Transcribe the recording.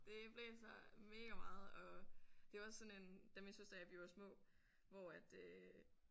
Det blæser mega meget og det er jo også sådan en da min søster og jeg vi var små hvor at øh